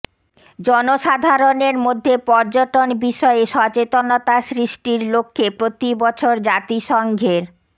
জনসাধারণের মধ্যে পর্যটন বিষয়ে সচেতনতা সৃষ্টির লক্ষ্যে প্রতি বছর জাতিসংঘের